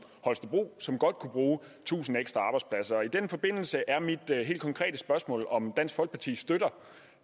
holstebro som godt kunne bruge tusind ekstra arbejdspladser og i den forbindelse er mit helt konkrete spørgsmål om dansk folkeparti støtter